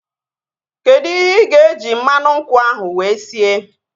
Kedụ ihe ịga eji mmanụ nkwụ ahu wee sie?